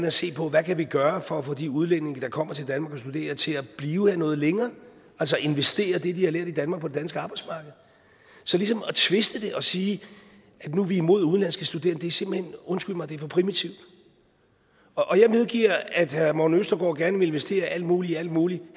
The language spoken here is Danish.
at se på hvad kan vi gøre for at få de udlændinge der kommer til danmark for at studere til at blive her noget længere altså investere det de har lært i danmark på det danske arbejdsmarked så ligesom at tviste det og sige at nu er vi imod udenlandske studerende er simpelt hen undskyld mig for primitivt jeg medgiver at herre morten østergaard gerne vil investere alt muligt i alt muligt